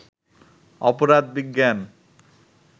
অপরাধ বিজ্ঞান